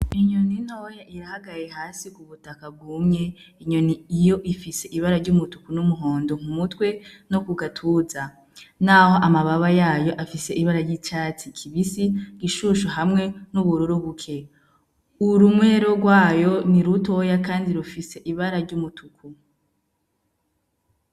Inyoni ntoya irahagaraye hasi kubutaka bwumye, inyoni iyo ifise ibara ry'umutuku n'umuhondo mumutwe no kugatuza naho amababa yayo afise ibara ry'icatsi kibisi gishushu hamwe n'ubururu buke urumwero gwayo nirutoya kandi rufise ibara ry'umutuku.